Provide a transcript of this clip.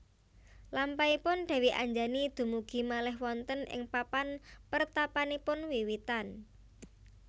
Lampahipun Dèwi Anjani dumugi malih wonten ing papan pertapanipun wiwitan